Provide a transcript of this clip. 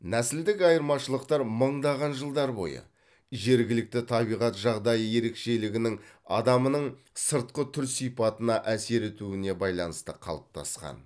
нәсілдік айырмашылықтар мыңдаған жылдар бойы жергілікті табиғат жағдайы ерекшелігінің адамның сыртқы түр сипатына әсер етуіне байланысты қалыптасқан